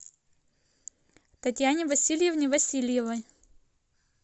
татьяне васильевне васильевой